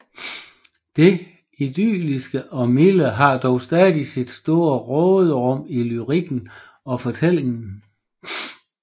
Det idylliske og milde har dog stadig sit store råderum i lyrikken og fortællingen